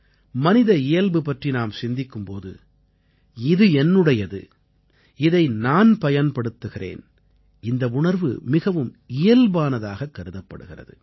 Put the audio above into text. மனித இயல்பு பற்றி நாம் சிந்திக்கும் போது இது என்னுடையது இதை நான் பயன்படுத்துகிறேன் இந்த உணர்வு மிகவும் இயல்பானதாகக் கருதப்படுகிறது